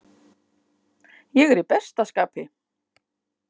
Ég er í besta skapi.